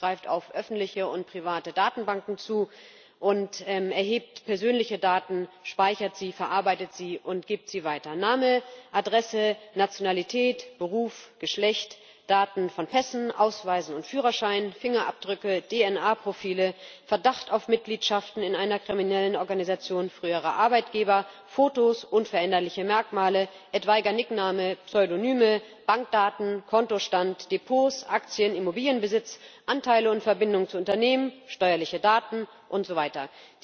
Europol greift auf öffentliche und private Datenbanken zu und erhebt persönliche Daten, speichert sie, verarbeitet sie und gibt sie weiter Name, Adresse, Nationalität, Beruf, Geschlecht, Daten von Pässen, Ausweisen und Führerschein, Fingerabdrücke, DNA Profile, Verdacht auf Mitgliedschaft in einer kriminellen Organisation, frühere Arbeitgeber, Fotos, unveränderliche Merkmale, etwaiger Spitzname, Pseudonyme, Bankdaten, Kontostand, Depots, Aktien, Immobilienbesitz, Anteile und Verbindungen zu Unternehmen, steuerliche Daten und so weiter.